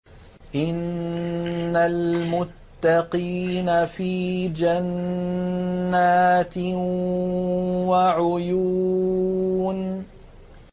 إِنَّ الْمُتَّقِينَ فِي جَنَّاتٍ وَعُيُونٍ